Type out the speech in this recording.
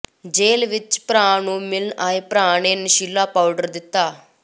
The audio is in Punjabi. ਜੇਲ੍ਹ ਵਿੱਚ ਭਰਾ ਨੂੰ ਮਿਲਣ ਆਏ ਭਰਾ ਨੇ ਨਸ਼ੀਲਾ ਪਾਊਡਰ ਦਿੱਤਾ